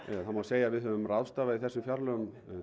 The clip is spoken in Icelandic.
það má segja að við höfum ráðstafað í þessu fjárlagafrumvarpi